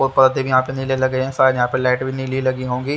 और पर्दे भी यहां पे नीले लगे रहे शायद यहां पे लाइट भी नीली लगी होंगी--